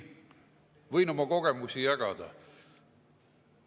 Võin oma kogemusi jagada.